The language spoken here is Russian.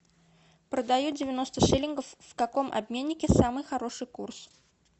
продаю девяносто шиллингов в каком обменнике самый хороший курс